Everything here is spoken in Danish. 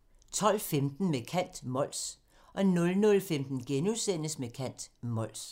12:15: Med kant – Mols 00:15: Med kant – Mols *